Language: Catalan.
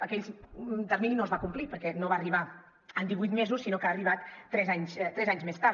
aquell termini no es va complir perquè no va arribar en divuit mesos sinó que ha arribat tres anys més tard